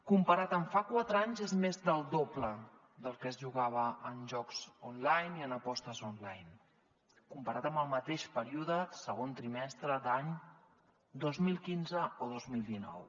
comparat amb fa quatre anys és més del doble del que es jugava en jocs online i en apostes amb el mateix període segon trimestre d’any dos mil quinze o dos mil dinou